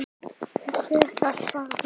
Og hver gat svarað því?